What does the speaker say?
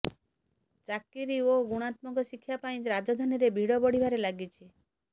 ଚାକିରି ଓ ଗୁଣାତ୍ମକ ଶିକ୍ଷା ପାଇଁ ରାଜଧାନୀରେ ଭିଡ଼ ବଢ଼ିବାରେ ଲାଗିଛି